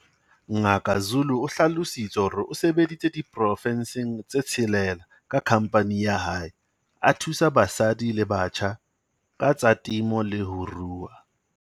Ngaka Zulu o hlalositse hore o sebeditse diporofenseng tse tshelela ka khamphane ya hae, a thusa basadi le batjha ka tsa temo le ho rua.